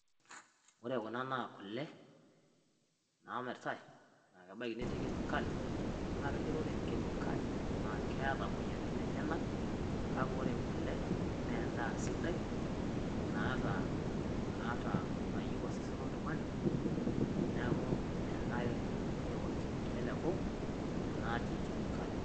Ore kuna naa kulee namiritai naa kebaki netii kemikali . Naa keji ore kemikali na keeta moyaritin enyanak. Kaki ore kulee na endaa sidai naata, naata nayeu osesen oltung'ani. Neeku enare neoki teleku natii kemikali.